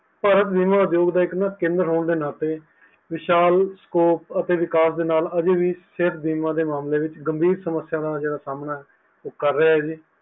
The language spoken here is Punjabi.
ਪਰ ਬੀਮਾ ਕੇਂਦਰ ਹੋਣ ਦੇ ਨਾਤੇ ਵਿਸ਼ਾਲ ਸ scope ਅਤੇ ਵਿਕਾਸ ਦੇ ਨਾਲ ਸੇਹਤ ਬੀਮਾ ਦੇ ਮਾਮਲੇ ਵਿੱਚ ਗੰਭੀਰ ਸਮਸਿਆ ਦਾ ਸਾਮਨਾ ਕਰ ਰ੍ਹੇਆ ਹੈ